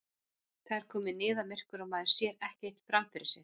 Það er komið niðamyrkur og maður sér ekkert fram fyrir sig!